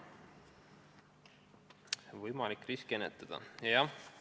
Võimalik riske ennetada?